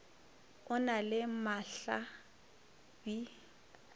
o na le mahla bi